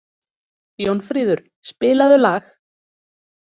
Jónfríður, spilaðu lag.